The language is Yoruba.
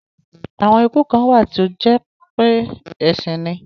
Àwon iku kàn wà tí ó jépé èsín ni.